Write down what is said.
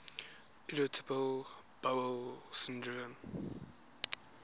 irritable bowel syndrome